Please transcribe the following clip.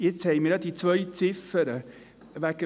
Jetzt haben wir ja diese zwei Ziffern.